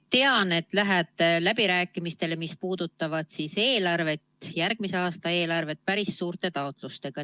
Tean, et te lähete läbirääkimistele, mis puudutavad järgmise aasta eelarvet, päris suurte taotlustega.